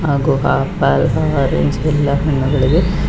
ಹಾಗು apple orange ಎಲ್ಲಾ ಹಣ್ಣುಗಳಿವೆ.